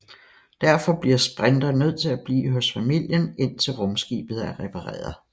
Derfor bliver Sprinter nødt til at blive hos familien indtil rumskibet er repareret